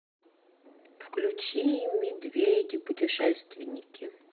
включи медведи путешественники